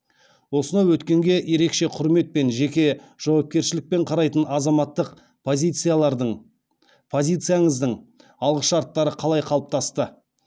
осынау өткенге ерекеше құрметпен жеке жауапкершілікпен қарайтын азаматтық позицияңыздың алғышарттары қалай қалыптасты